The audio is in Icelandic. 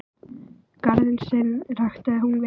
Garðinn sinn ræktaði hún vel.